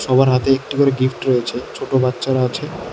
সবার হাতে একটি করে গিফট রয়েছে ছোট বাচ্চারা আছে।